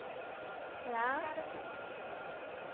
Lá... A senhora tinha quantos anos?